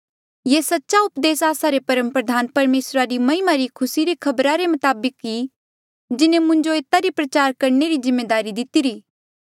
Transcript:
ये सच्चा उपदेस आस्सा रे परमप्रधान परमेसरा री महिमा री खुसी री खबरा रे मताबक ई जिन्हें मुंजो एता री प्रचार करणे री जिम्मेदारी दितिरी